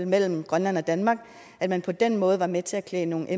mellem grønland og danmark og at man på den måde var med til at klæde nogle